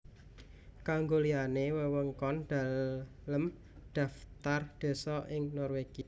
Kanggo liyane wewengkon Deleng Dhaftar désa ing Norwegia